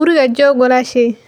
Guriga joog walaashay